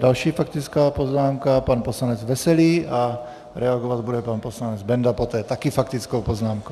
Další faktická poznámka pan poslanec Veselý a reagovat bude pan poslanec Benda poté, taky faktickou poznámkou.